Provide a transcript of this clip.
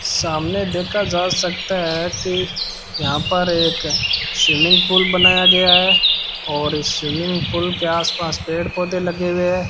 सामने देखा जा सकता हैं कि यहाँ पर एक स्विमिंग पूल बनाया गया हैं और इस स्विमिंग पूल के आस पास पेड़ पौधे लगे हुए हैं।